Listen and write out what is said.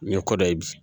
N ye kɔ dɔ ye bi